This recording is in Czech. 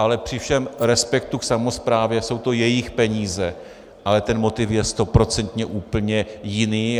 Ale při všem respektu k samosprávě jsou to jejich peníze, ale ten motiv je stoprocentně úplně jiný.